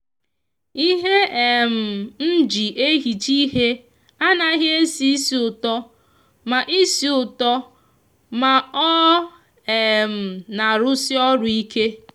ihe um nji ehicha ihe a naghi esi isi uto ma isi uto ma o um n'arusi oru ike.